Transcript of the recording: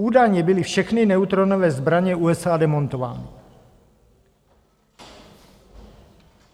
Údajně byly všechny neutronové zbraně USA demontovány.